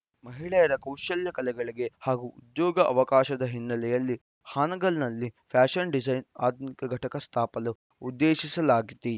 ಮಹಿಳೆಯರ ಕೌಶಲ್ಯ ಕಲೆಗಳಿಗೆ ಹಾಗೂ ಉದ್ಯೋಗ ಅವಕಾಶದ ಹಿನ್ನೆಲೆಯಲ್ಲಿ ಹಾನಗಲ್‌ನಲ್ಲಿ ಫ್ಯಾಶನ್‌ ಡಿಜೈನ್‌ ಆಧುನಿಕ ಘಟಕ ಸ್ಥಾಪಿಸಲು ಉದ್ದೇಶಿಸಲಾಗಿದೆ